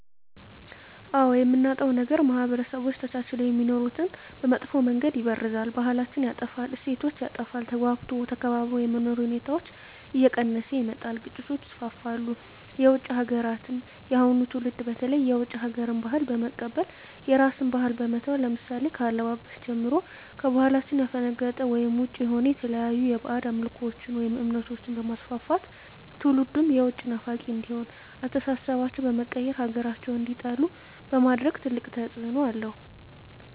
አዎ የምናጣዉ ነገር ማህበረሰቦች ተቻችለዉ የሚኖሩትን በመጥፋ መንገድ ይበርዛል ባህላችን ይጠፋል እሴቶች ይጠፋል ተግባብቶ ተከባብሮ የመኖር ሁኔታዎች እየቀነሰ ይመጣል ግጭቶች ይስፍፍሉ የዉጭ ሀገራትን የአሁኑ ትዉልድ በተለይ የዉጭ ሀገር ባህልን በመቀበል የራስን ባህል በመተዉ ለምሳሌ ከአለባበስጀምሮ ከባህላችን ያፈነቀጠ ወይም ዉጭ የሆነ የተለያዩ ባእጅ አምልኮችን ወይም እምነቶችንበማስፍፍት ትዉልዱም የዉጭ ናፋቂ እንዲሆን አስተሳሰባቸዉ በመቀየር ሀገራቸዉን እንዲጠሉ በማድረግ ትልቅ ተፅዕኖ አለዉ